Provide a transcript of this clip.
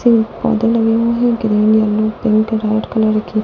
पौधे लगे हुए है green yellow pink red colour के --